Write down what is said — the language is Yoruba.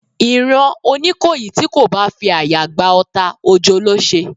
Ìran oníkòyí ti ko bá fi àyà gba ọta, ojo ló se